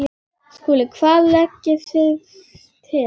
SKÚLI: Hvað leggið þér til?